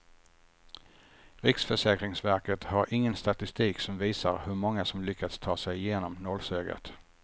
Riksförsäkringsverket har ingen statistik som visar hur många som lyckats ta sig igenom nålsögat.